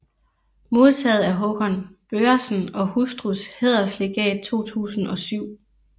Modtaget Hakon Børresen og hustrus Hæderslegat 2007